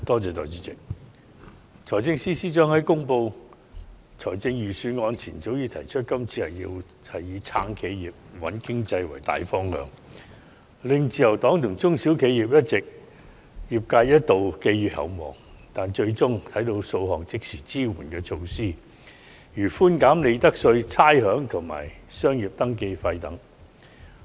代理主席，財政司司長在公布財政預算案前，提出今年會以"撐企業"、"穩經濟"為大方向，令自由黨和中小型企業一度寄予厚望，但我們最終只看到數項即時支援措施，例如寬減利得稅、差餉和商業登記費。